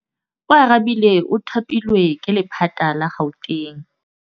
Oarabile o thapilwe ke lephata la Gauteng.